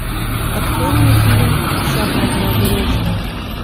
открой мне фильм шахматная горячка